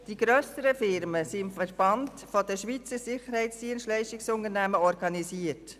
Die grösseren Firmen sind im Verband Schweizer Sicherheitsdienstleistungs-Unternehmen (VSSU) organisiert.